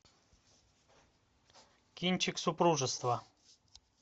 кинчик супружество